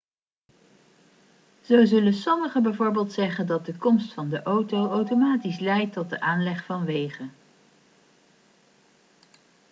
zo zullen sommigen bijvoorbeeld zeggen dat de komst van de auto automatisch leidt tot de aanleg van wegen